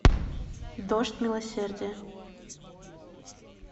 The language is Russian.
дождь милосердия